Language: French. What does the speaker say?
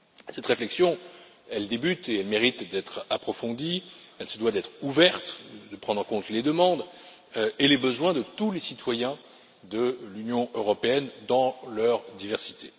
Cette réflexion, elle débute et elle mérite d'être approfondie, elle se doit d'être ouverte et de prendre en compte les demandes et les besoins de tous les citoyens de l'Union européenne dans leur diversité.